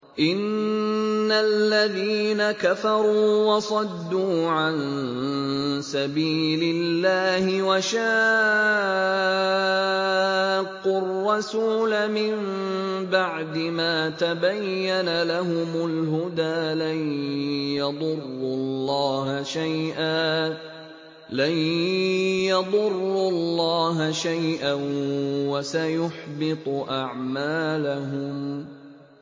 إِنَّ الَّذِينَ كَفَرُوا وَصَدُّوا عَن سَبِيلِ اللَّهِ وَشَاقُّوا الرَّسُولَ مِن بَعْدِ مَا تَبَيَّنَ لَهُمُ الْهُدَىٰ لَن يَضُرُّوا اللَّهَ شَيْئًا وَسَيُحْبِطُ أَعْمَالَهُمْ